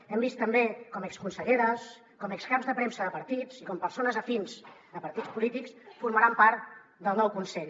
hem vist també com exconselleres com ex caps de premsa de partits i com persones afins a partits polítics formaran part del nou consell